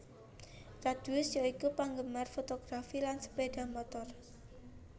Radius ya iku penggemar fotografi lan sepeda motor